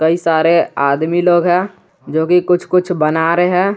कई सारे आदमी लोग हैं जो कि कुछ कुछ बना रहे हैं।